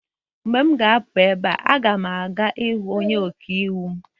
Mgbe m ga-apụ ebe a, m ga-aga hụ onye ọka iwu m